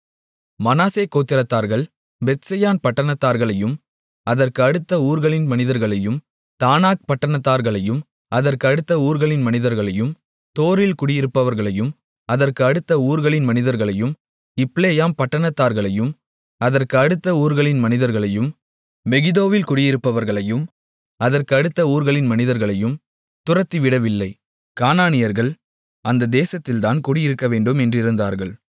மனாசே கோத்திரத்தார்கள் பெத்செயான் பட்டணத்தார்களையும் அதற்கு அடுத்த ஊர்களின் மனிதர்களையும் தானாக் பட்டணத்தார்களையும் அதற்கு அடுத்த ஊர்களின் மனிதர்களையும் தோரில் குடியிருப்பவர்களையும் அதற்கு அடுத்த ஊர்களின் மனிதர்களையும் இப்லேயாம் பட்டணத்தார்களையும் அதற்கு அடுத்த ஊர்களின் மனிதர்களையும் மெகிதோவில் குடியிருப்பவர்களையும் அதற்கு அடுத்த ஊர்களின் மனிதர்களையும் துரத்திவிடவில்லை கானானியர்கள் அந்த தேசத்தில்தான் குடியிருக்கவேண்டும் என்றிருந்தார்கள்